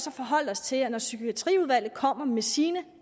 at forholde os til at når psykiatriudvalget kommer med sine